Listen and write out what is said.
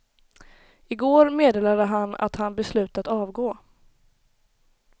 Igår meddelade han att han beslutat avgå.